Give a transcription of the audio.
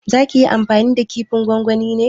Za ki yi amfani da kifin gongoni ne?